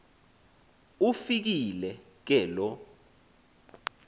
ufikile ke loo